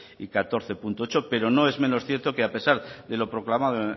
y catorce punto ocho pero no es menos cierto que a pesar de lo proclamado